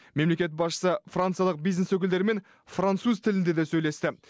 мемлекет басшысы франциялық бизнес өкілдерімен француз тілінде де сөйлесті